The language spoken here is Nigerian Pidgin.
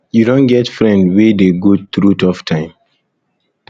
you don get friend wey dey go through tough time